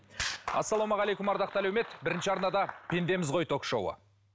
ассалаумағалейкум ардақты әлеумет бірінші арнада пендеміз ғой ток шоуы